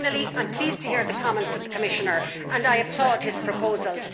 Finally, I am pleased to hear the comments of the Commissioner and I applaud his proposals.